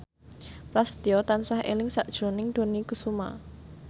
Prasetyo tansah eling sakjroning Dony Kesuma